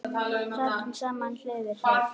Sátum saman hlið við hlið.